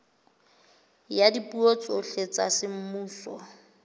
ya dipuo tsohle tsa semmuso